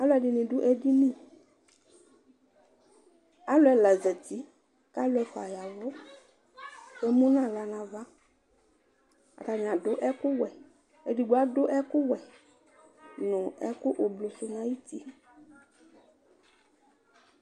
aloɛdini do edini alo ɛla zati k'alo ɛfua yavu k'emu n'ala n'ava atani ado ɛkò wɛ edigbo ado ɛkò wɛ no ɛkò ublɔ sò n'ayiti